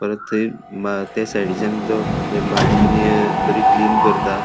परत थय म ते साईडिचान त ते भाजीनी बरी क्लीन करता.